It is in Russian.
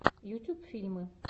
ютьюб фильмы